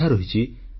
ଆଜି ଏହା 36ତମ ଅଧ୍ୟାୟ